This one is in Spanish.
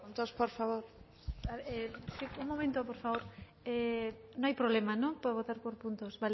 bai si por puntos por favor sí un momento por favor no hay problema por votar por puntos